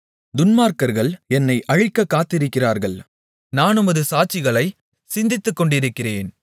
துன்மார்க்கர்கள் என்னை அழிக்கக் காத்திருக்கிறார்கள் நான் உமது சாட்சிகளைச் சிந்தித்துக்கொண்டிருக்கிறேன்